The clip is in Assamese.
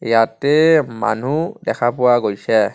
ইয়াতে মানুহ দেখা পোৱা গৈছে।